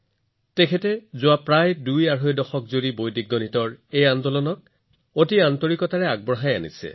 আৰু যোৱা আঢ়ৈ দশক ধৰি তেওঁ বৈদিক গণিতৰ এই আন্দোলনক অতি নিষ্ঠাৰে আগুৱাই নিছে